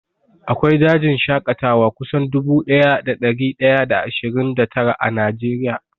Akwai dajin shaƙatawa kusan dubu ɗaya da ɗari ɗaya da ashirin da tara a Najeriya